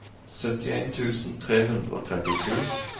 syttien tusen tre hundre og trettisju